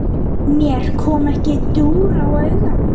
Mér kom ekki dúr á auga.